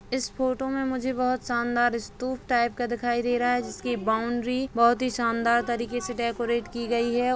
इस फोटो मे मुझे बहुत शानदार स्तूप टाइप का दिखाई दे रहा है जिसकी बाउन्ड्री बहुत ही शानदार तरीके से डेकोरेट की गई है।